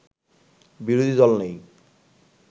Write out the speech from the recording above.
বিরোধী দল নেই